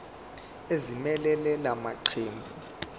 ezimelele la maqembu